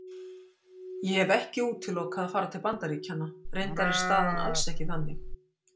Ég hef ekki útilokað að fara til Bandaríkjanna, reyndar er staðan alls ekki þannig.